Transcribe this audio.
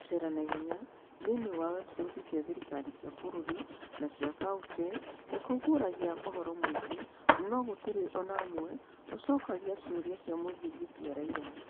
Gũceera na ihenya thĩinĩ wa website cia thirikari cia bũrũri na cia county nĩ kũguũragia ũhoro mũingĩ, no gũtirĩ o na ũmwe ũcokagia ciũria cia mũthingi cia raiya.